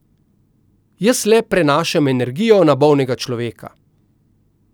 Jaz le prenašam energijo na bolnega človeka.